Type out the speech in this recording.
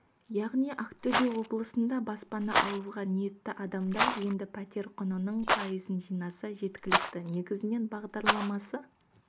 яғни ақтөбе облысында баспана алуға ниетті адамдар енді пәтер құнының пайызын жинаса жеткілікті негізінен бағдарламасы